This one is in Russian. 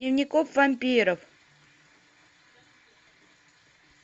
дневников вампиров